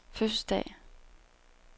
fødselsdag